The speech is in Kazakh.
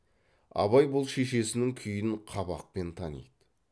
абай бұл шешесінің күйін қабақпен таниды